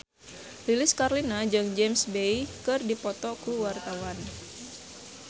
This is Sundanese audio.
Lilis Karlina jeung James Bay keur dipoto ku wartawan